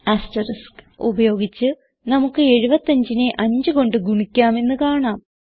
asterisk ഉപയോഗിച്ച് നമുക്ക് 75നെ 5 കൊണ്ട് ഗുണിക്കാം എന്ന് കാണാം